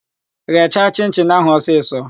Gheecha chịn-chịn áhụ̀ ọsisọ!